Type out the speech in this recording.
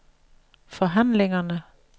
forhandlingerne